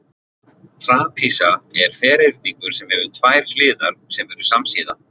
Trapisa er ferhyrningur sem hefur tvær hliðar sem eru samsíða.